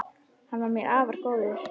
Hann var mér afar góður.